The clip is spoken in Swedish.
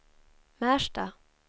Märsta